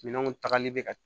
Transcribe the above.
Minɛnw tagali bɛ ka